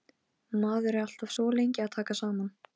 Maður er alltaf svo lengi að taka saman.